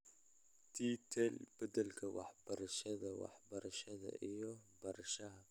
T-TEL Beddelka Waxbarashada , Waxbarashada iyo Barashada